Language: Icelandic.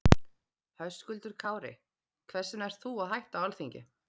Höskuldur Kári: Hvers vegna ert þú að hætta á Alþingi?